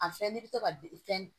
A fɛn n'i bɛ to ka fɛn